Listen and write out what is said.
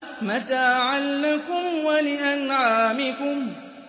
مَّتَاعًا لَّكُمْ وَلِأَنْعَامِكُمْ